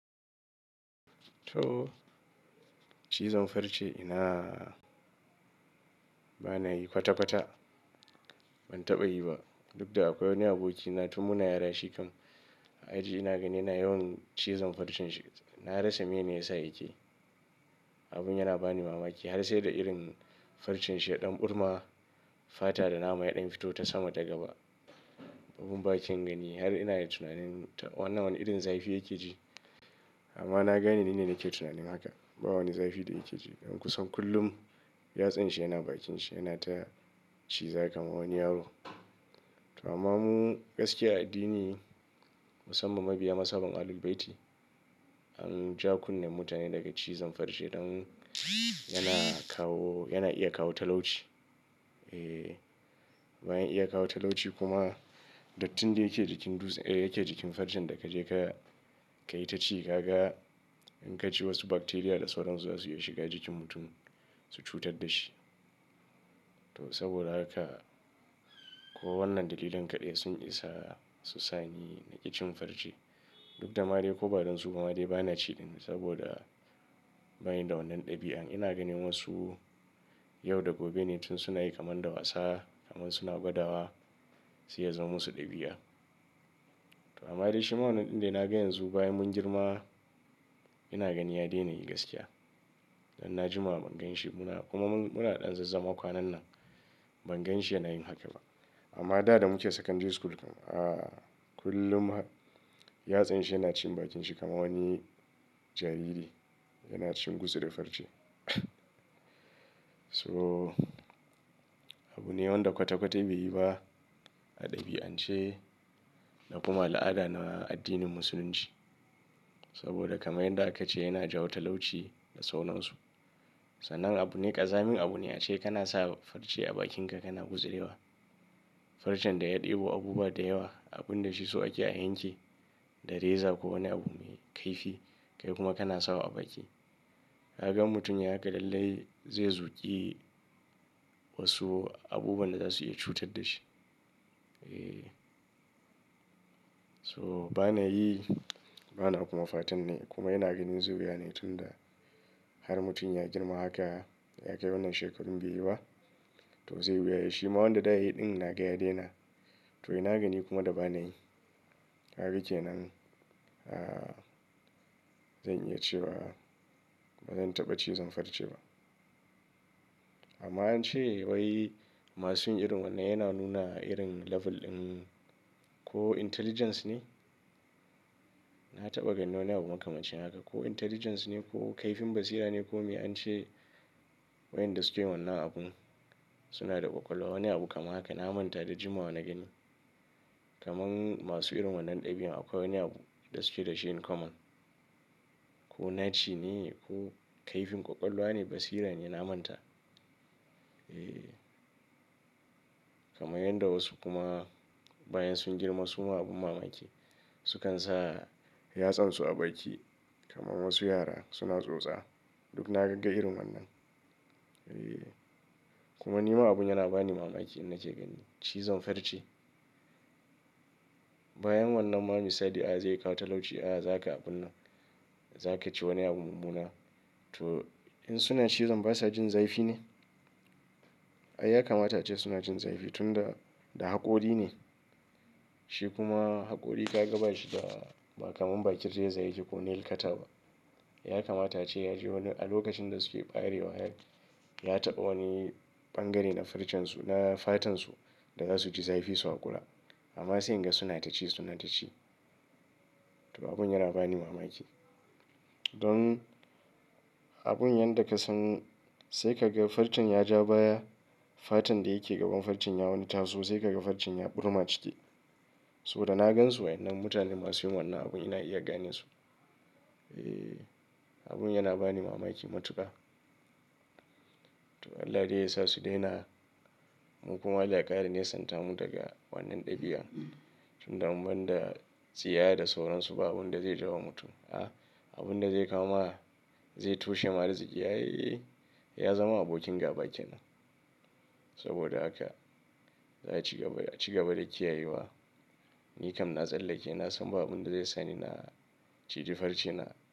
To, cizon farce ina bana yi kwata-kwata. Ban taɓa yi ba duk da akwai wani abokina tun muna yara shikan. A aji ina gani yana yawan cizon farcen shi. Na rasa mene ya sa yake. Abun yana bani mamaki har sai da irin farcen shi yaɗan ɓurma, fata da nama yaɗan fito ta sama ta gaba. Abun baken gani har ina tunanin wannan wani irin zafi yake ji. Amma na gane ni ne nake tunanin haka ba wani zafi da yake ji. Don kusan kullum yatsan shi yana bakin shi yana ta ciza kaman wani yaro. To amma mu gaskiya a addini musamman mabiya mas haban Ahlul Bayti an ja kunne mutane daga cizon farce don yana kawo, yana iya kawo talauci. E, bayan iya kawo talauci kuma dattin da yake jikin duze, yake jikin farcen da ka je ka, ka yi ta ci kaga in ka ci wasu bacteria da sauran su zasu iya shiga jikin mutum su cutar da shi. To saboda haka ko wannan dalilan kaɗai sun isa su sa ni naƙi cin farce. Duk da ma dai ko ba don su bama dai bana ciɗin saboda bani da wannan ɗabi'an. Ina ganin wasu yau da gobe ne tun suna yi kamar da wasa kamar suna gwadawa sai ya zaman musu ɗabi'a. To amma dai shi ma wannan ɗin dai na ga yanzu bayan mun girma ina gani ya daina yi gaskiya. Dan na jima ban gan shi kuma muna ɗan zazzama kwanan nan ban gan shi yana yin haka ba. Amma da damuke Secondary School, kullum, yatsan shi yana cin bakin shi kamar wani jariri yana cin gutsuri farce. So, abu ne wanda kwata-kwata bai yi ba a ɗabi'ance da kuma al'ada na addinin musulunci. Saboda kamar yanda aka ce yana jawo talauci da sauran su. Sanan abu ne ƙazamin abu ne ace kana sa farce a bakinka kana gutsurewa. Farcen da ya ɗebo abubuwa da yawa abun da shiso ake a yanki da reza ko wani abu mai kaifi kai kuma kana sawa a baki. Kaga idan mutum ya haka lallai zai zuƙi wasu abubuwan da za su iya cutar da shi. E, so bana yi bana kuma fatan nayi kuma ina ganin zuriya ne tun da har mutum ya girma haka ya kai wannan shekarun beyi ba to zai wuya yayi shi ma wanda da yiyi ɗin na ga ya daina. To ina gani kuma da bana yi kaga kenan. A, zan iya cewa bazan taɓa cizon farce ba. Amma ance wai masu yin irin wannan yana nuna irin level ɗin ko intelligence ne. Na taɓa ganin wani abu makamancin haka ko intelligence ne ko kaifin basira ne ko me ance. Wa inda sukeyin wannan abun suna da ƙwaƙwalwa wani abu kamar haka na manta da jima bana gani. Kaman masu irin wannan ɗabi'an akwai wani abu da suke dashi in common. Ko naci ne ko kaifin ƙwaƙwalwa ne basira ne na manta. E, kamar yanda wasu kuma bayan sun girma su ma abun mamaki sukan sa yatsansu a baki kamar wasu yara suna tsotsa. Duk na gagga irin wannan. E, kuma ni ma abun yana bani mamaki in naje gani. Cizon farce. Bayan wannan ma misali ai zai kawo talauci, a za ka abun nan za ka ci wani abu mu muna. To in sunan cizon basa jin zafi ne? Ai ya kamata ace suna jin zafi tun da, da haƙori ne. Shi kuma haƙori ka gaba shi da ba kamar bakin raza yake ko nail ka ta ba. Ya kamata ace ya ji wani a lokacin da suke ɓarewa har ya taɓa wani ɓangare na farcen su, na fatan su da zasu ji zafi su hakura. Amma sai in ga suna ta ci suna ta ci. To abun yana bani mamaki. Don abun yanda ka san sai ka ga farcen ya ja baya fatan da yake gaban farcen ya wani taso sai ka ga farcen ya ɓurma ciki. Saboda na gan su waɗannan mutanen masu yin wannan abun ina iya ganin su. E, abun yana bani mamaki matuƙa. To Allah dai yasa su daina mu kuma Allah ya ƙara nesan ta mu daga wannan ɗabi'a. Tun da mun da tsiya da sauran su ba abun da zai jiwa mutum a abun da zai kama zai toshe ma riƙi. Ai, ya zama abokin gaba kenan. Saboda haka za ci gaba da, ci gaba da ƙiyayewa. Ni kam na tsallake na san ba abun da zai sa ni na ciji farce na.